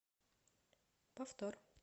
повтор